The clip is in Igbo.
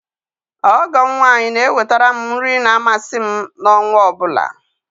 Ọgọ m nwaanyị na eweterem nri ma amasị m na ọnwa ọbụla